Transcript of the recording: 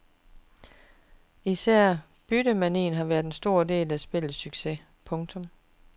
Især byttemanien har været en stor del af spillets succes. punktum